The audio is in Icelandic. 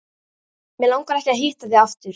Mig langar ekki að hitta þig aftur.